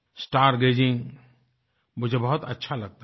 star gazing मुझे बहुत अच्छा लगता था